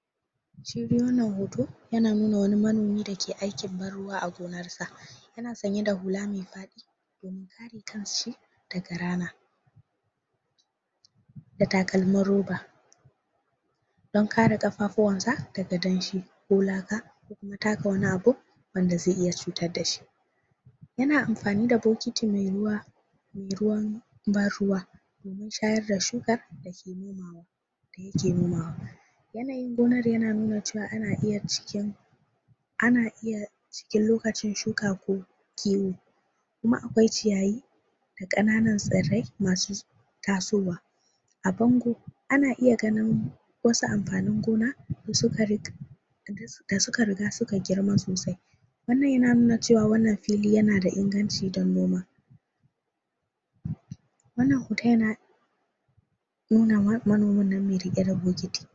????? shi dai wannan hoto yana nuna wani manomi dake aikin ban ruwa a gonarsa yana sanye da hula me fadi domin kare daga rana?????? da takalmin roba don kare kafafuwansa daga danshi ko laka ko taka wani abu wanda zai iya cutar dashi yana amfani da bokiti me ruwa me ruwan ban ruwa domin shayar da shuka da yake nomawa yanayin gonar yana nuna ana iya ciken ana iya cikin lokacin shuka ko ko kiwo kuma akwai ciyayi da kananun tsirrai masu tasowa a bango ana iya ganin wasu amfanin gona da suka rig da suka riga suka girma sosai wannan yana nuna cewa wannan filin yana da inganci don noma????? wannan hoton nuna wa manomin nan me rike da bokiti?????????????????????????????????????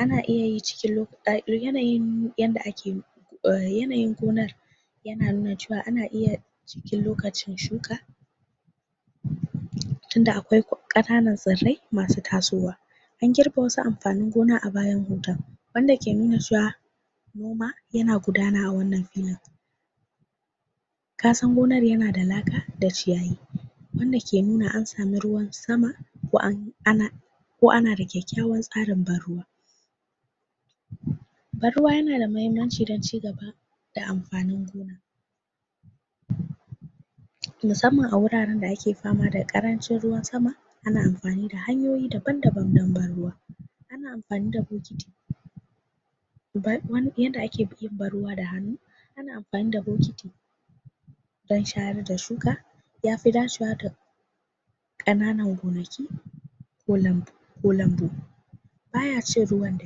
ana iya yin cikin yanayin yadda ake yanayin gonar yana nuna cewa ana iya cikin lokacin shuka tunda akwai kananun tsirrai masu tasowa an girbe wasu amfanin gona a bayan hoton wanda ke nuna cewa noma yana gudana a wannan filin kasan gonar na da laka da ciyayi wanda ke nuna an samu ruwan sama ko an ana ko ana da kyakyawan tsarin ban ruwa ban ruwa yana da mahimmanci dan chigaba da amfanin gona??? musamman a wuraren da ake fama da karancin ruwan sama ana amfani da hanyoyi daban daban dan ban ruwa ana amfani da bokiti ban wan yadda ake yin ban ruwa da hannu ana amfani da bokiti dan shayar da shuka yafi dacewa da kananan gonaki ko lambu ko lambu baya cin ruwan da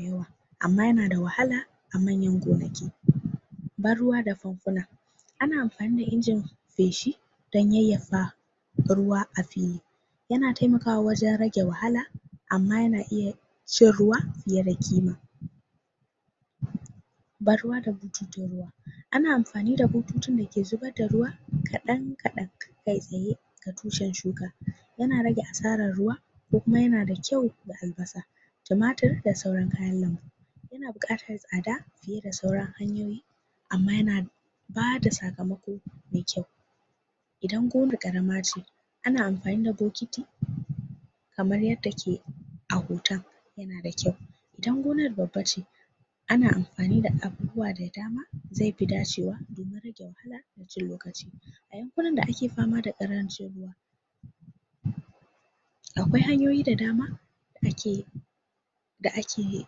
yawa amma yana da wahala a manyan gonaki?? ban ruwa da fanfuna ana amfani da injin feshi dan yayyafa ruwa a fili yana taimakawa wajen rage wahala amma yana iya cin ruwa ya rage kima???? ban ruwa da bututun ruwa ana amfani da bututun da ke zubar da ruwa kadan kadan kai tsaye a tushen shuka yana rage asaran ruwa ko kuma yana da kyau da albasa tumatir da sauran kayan lambu yana bukatar tsada fiye da sauran hanyoyi amma yana bada sakamako me kyau idan gonar karamace ana amfani da bokiti kamar yadda ke a hoton yana da kyau idan gonar babbace ana amfani da abubuwa da dama zai fi dacewa domin rage wahala da cin lokaci a yankunan da ake fama da karancin ruwa??? akwai hanyoyi da dama da ake da ake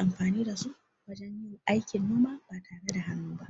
amfani dasu wajen yin aikin noma ba tare danoma ba